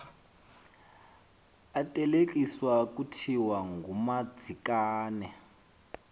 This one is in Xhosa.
ateketiswa kuthiwa ngumadzikane